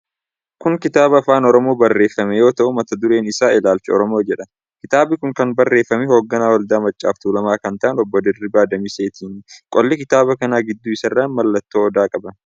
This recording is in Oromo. Kun kitaaba Afaan Oromoon barreeffame yoo ta'u, mata dureen isaa 'Ilaalcha Oromoo' jedha. Kitaabi kun kan barreeffame hogganaa Waldaa Maccaaf Tuulamaa kan ta'an Obbo Dirribii Damiseetini. Qolli kitaaba kana gidduu isaarran mallattoo Odaa qaba.